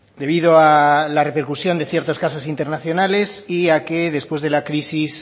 debido a la repercusión de ciertos casos internacionales y a que después de la crisis